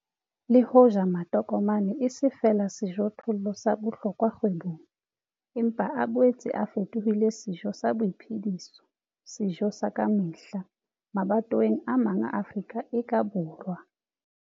Le hoja matokomane e se feela sejothollo sa bohlokwa kgwebong, empa a boetse a fetohile sejo sa boiphediso, sejo sa ka mehla, mabatoweng a mang a Afrika e ka borwa.